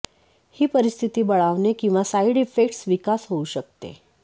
ही परिस्थिती बळावणे किंवा साइड इफेक्ट्स विकास होऊ शकते